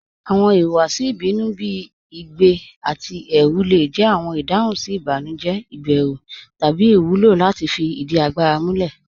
Awọn ìhùwàsì ìbínú bí igbẹ̀ àti ẹrù le jẹ awọn ìdáhùn sí ìbànújẹ̀, ìbérù, tabí iwúlọ láti fí ìdí àgbàrà múlẹ̀.